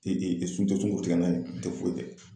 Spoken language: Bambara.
o tɛ foyi kɛ.